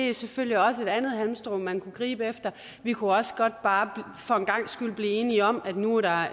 er selvfølgelig også et andet halmstrå man kan gribe efter vi kunne også bare for en gangs skyld blive enige om at nu er